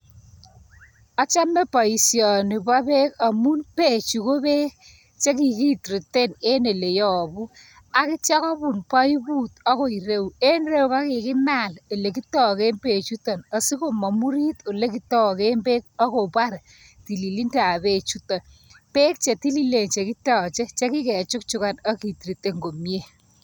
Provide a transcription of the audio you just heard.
Achame baishani pa pek amun pechu ko pek che kiktretaen en ele yabu, akitya kobun paiput akoi ireyu en en ireyu kokimal lekitaken pechutan asikomamurit ole kitaken pek akopar tililido ab pekchuto ,pek chetililen che kitache che kikechukchukan ak ketretaen komnye.